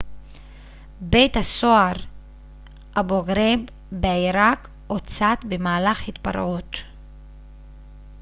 בית הסוהר אבו-גרייב בעירק הוצת במהלך התפרעות